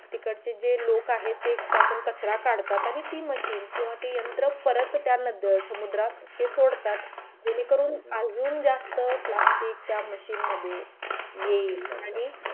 तिकडचे जे लोक आहेत ते त्यातून कचरा काढतात आणि ती machine किंवा ते यंत्र परत त्या नद्या समुद्रात ते सोडतात जेणेकरून अजून जास्त plastic त्या machine मध्ये येईल आणि